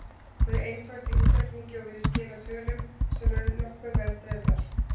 Hún er einföld í útreikningi og virðist skila tölum sem eru nokkuð vel dreifðar.